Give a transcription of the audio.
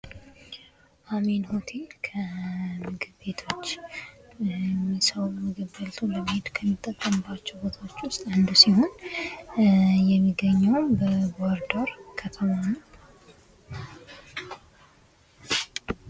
አሜን ሆቴል ከምግብ ቤቶች ሰዉ ምግብ በልቶ ከሚጠቀምባቸዉ ቦታዎች ዉስጥ አንዱ ሲሆን የሚገኘዉም በባህርዳር ከተማ ነዉ።